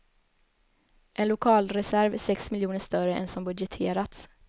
En lokalreserv är sex miljoner större än som budgeterats.